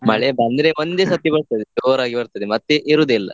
ಮಳೆ ಬಂದ್ರೆ ಒಂದೇ ಸತಿ ಬರ್ತದೆ, ಜೋರಾಗಿ ಬರ್ತದೆ, ಮತ್ತೆ ಇರುದೇ ಇಲ್ಲಾ.